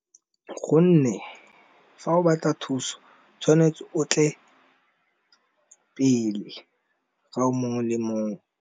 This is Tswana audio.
gonne fa o batla thuso tshwanetse o tle pele ga o mongwe le mongwe